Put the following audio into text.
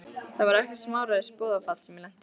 Þetta var ekkert smáræðis boðafall sem ég lenti í!